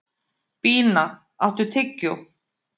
Bína, áttu tyggjó?